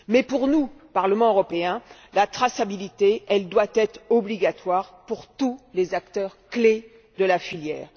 Pour le Parlement européen, la traçabilité doit être obligatoire pour tous les acteurs clés de la filière